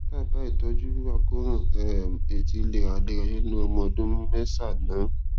dábàá ìtọjú fún àkóràn um etí léraléra nínú ọmọ ọdún mẹsànán